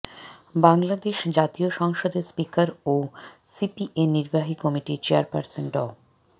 বাংলাদেশ জাতীয় সংসদের স্পিকার ও সিপিএ নির্বাহী কমিটির চেয়ারপার্সন ড